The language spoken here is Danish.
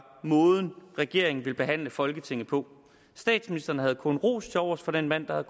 måden regeringen ville behandle folketinget på statsministeren havde kun ros til overs for den mand der var